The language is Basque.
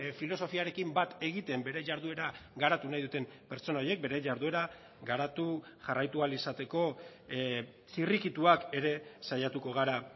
filosofiarekin bat egiten bere jarduera garatu nahi duten pertsona horiek bere jarduera garatu jarraitu ahal izateko zirrikituak ere saiatuko gara